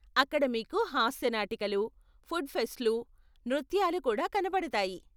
అక్కడ మీకు హాస్య నాటికలు, ఫుడ్ ఫెస్ట్లు, నృత్యాలు కూడా కనపడతాయి.